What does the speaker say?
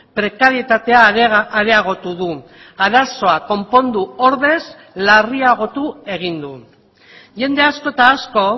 prekaritatea areagotu du arazoa konpondu ordez larriagotu egin du jende asko eta asko